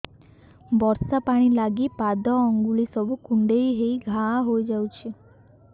ବର୍ଷା ପାଣି ଲାଗି ପାଦ ଅଙ୍ଗୁଳି ସବୁ କୁଣ୍ଡେଇ ହେଇ ଘା ହୋଇଯାଉଛି